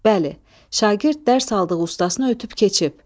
Bəli, şagird dərs aldığı ustasını ötüb keçib.